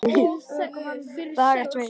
Dagar tveir